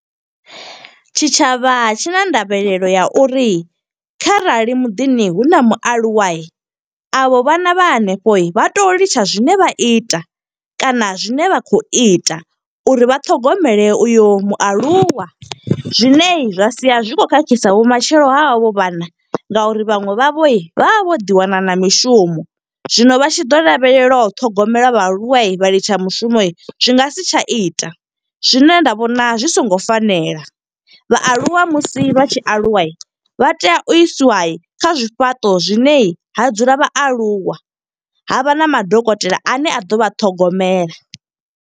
Tshitshavha tshi na ndavhelelo ya uri kharali muḓini hu na mualuwa, avho vhana vha hanefho vha tea u litsha zwine vha ita. Kana zwine vha khou ita, uri vhaṱhogomele uyo mualuwa. Zwine zwa sia zwi khou khakhisa vhumatshelo ha havho vhana, nga uri vhaṅwe vha vho vha vha vho ḓi wana na mishumo. Zwino vha tshi ḓo lavhelelwa u ṱhogomela vhaaluwa vha litsha mushumo, zwi nga si tsha ita. Zwine nda vhona zwi songo fanela, vhaaluwa musi vha tshi aluwa, vha tea u isiwa kha zwifhaṱo zwine ha dzula vhaaluwa. Havha na madokotela ane a ḓo vha ṱhogomela.